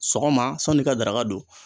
Sɔgɔma san'i ka daraka don.